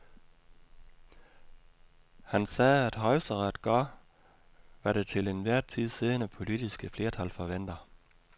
Han sagde, at højesteret gør, hvad det til enhver tid siddende politiske flertal forventer.